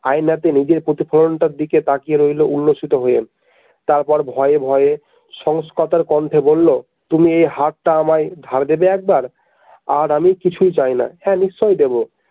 আয়নাতে নিজের প্রতিফলনটার দিকে তাকিয়ে রইল উল্লসিত হয়ে তারপর ভয়ে ভয়ে সংস্কর্তার কণ্ঠে বলল তুমি এই হারটা আমায় ধার দেবে একবার আর আমি কিছুই চাই না হ্যাঁ নিশ্চয়ই দেবো।